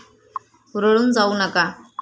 हुरळून जाऊ नका.